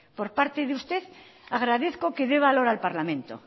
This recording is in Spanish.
por parte de usted agradezco que dé valor al parlamento